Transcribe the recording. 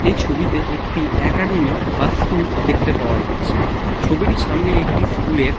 এই ছবি তে একটি একাডেমী বা স্কুল দেখতে পাওয়া যাচ্ছে। ছবিটির সামনে একটি স্কুল -এর--